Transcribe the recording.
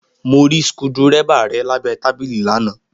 Mo rí skudẹ́rẹ́bà rẹ̀ lábẹ́ tábìlì lánàá